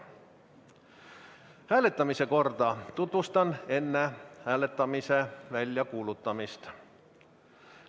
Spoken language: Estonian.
Hääletamise korda tutvustan enne hääletamise väljakuulutamist.